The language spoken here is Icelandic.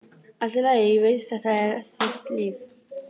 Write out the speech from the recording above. Allt í lagi, ég veit, þetta er þitt líf.